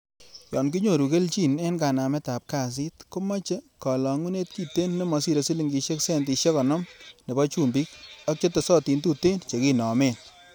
Yon kinyoru kelchin en kanametab kasit, komoche kolongunet kiten nemosire silingisiek centisiek konoom nebo chumbik ak chetestin tuten chekinomen.